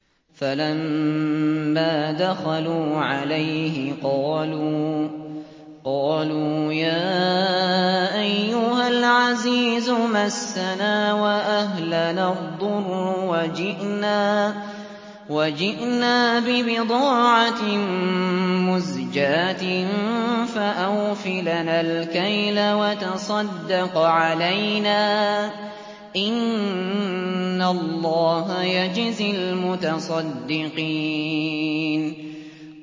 فَلَمَّا دَخَلُوا عَلَيْهِ قَالُوا يَا أَيُّهَا الْعَزِيزُ مَسَّنَا وَأَهْلَنَا الضُّرُّ وَجِئْنَا بِبِضَاعَةٍ مُّزْجَاةٍ فَأَوْفِ لَنَا الْكَيْلَ وَتَصَدَّقْ عَلَيْنَا ۖ إِنَّ اللَّهَ يَجْزِي الْمُتَصَدِّقِينَ